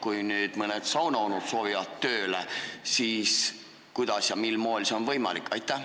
Kui nüüd mõned saunaonud soovivad sinna tööle minna, siis kuidas ja mil moel see on võimalik?